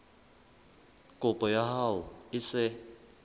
kopo ya hao e se